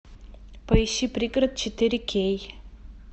поищи пригород четыре кей